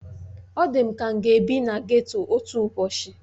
Ọ dị m ka m ga-ebi na geto otu ụbọchị